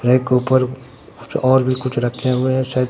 rack के ऊपर कुछ और भी कुछ रखे हुए हैं शाय--